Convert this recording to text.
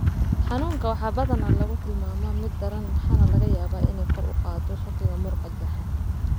Xanuunka waxaa badanaa lagu tilmaamaa mid daran waxaana laga yaabaa inay kor u qaaddo shakiga muruqa jeexan.